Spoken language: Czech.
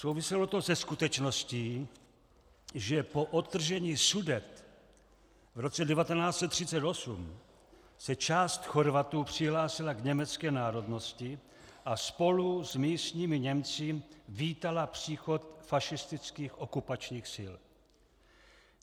Souviselo to se skutečností, že po odtržení Sudet v roce 1938 se část Chorvatů přihlásila k německé národnosti a spolu s místními Němci vítala příchod fašistických okupačních sil.